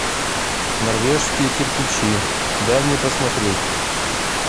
норвежские кирпичи дай мне посмотреть